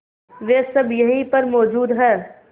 वे सब यहीं पर मौजूद है